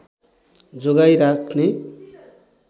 जोगाई राख्ने